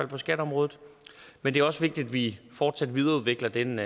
på skatteområdet men det er også vigtigt at vi fortsat videreudvikler den